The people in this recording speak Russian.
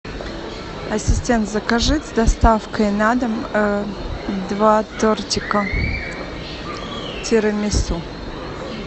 ассистент закажи с доставкой на дом два тортика тирамису